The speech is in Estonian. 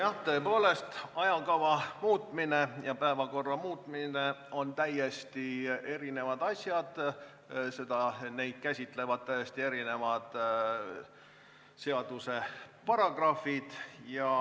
Jah, tõepoolest, ajakava muutmine ja päevakorra muutmine on täiesti erinevad asjad, neid käsitlevad täiesti erinevad seaduse paragrahvid.